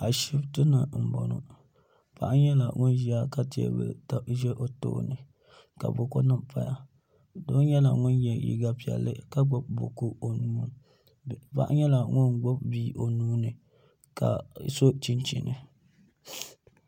ashɛtɛni n bɔŋɔ paɣ' nyɛla ŋɔ ʒɛya ka kapu ʒɛ o tuuni ka buku nim paya so yɛla liga piɛli ka gbabi buku o nu ni paɣ' nyɛla ŋɔ gbabi bia o nuni ka so chinichina